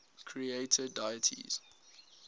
creator deities